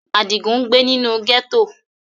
Adigun ngbe ninu gẹto.